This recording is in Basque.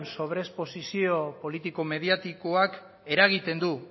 sobresposizio politiko mediatikoak eragiten du